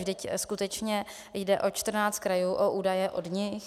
Vždyť skutečně jde o 14 krajů, o údaje od nich.